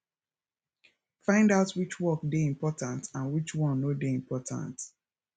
find out which which work dey important and which one no dey important